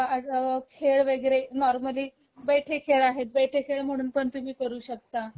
खेळ वैगरे नॉर्मली, बैठे खेळ आहेत बैठे खेळ म्हणूनपण तुम्ही करू शकता...